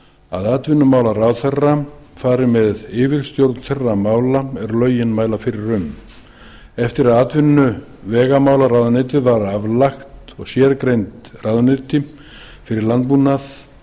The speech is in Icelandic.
að atvinnumálaráðherra fari með yfirstjórn þeirra mála er lögin mæla fyrir um eftir að atvinnuvegamálaráðuneytið var aflagt og sérgreind ráðuneyti fyrir landbúnað